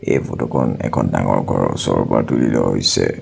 এই ফটো খন এখন ডাঙৰ ঘৰৰ ওচৰৰ পৰা তুলি লোৱা হৈছে।